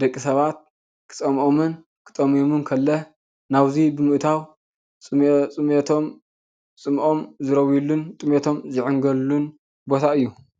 ደቂ ሰባት ክፀምኦምን ክጠምዮምን ከሎ ናብዚ ብምእታው ፅምኦም ዝረውዩሉን ጥምየቶም ዝዕንገሉሉን ቦታ እዩ፡፡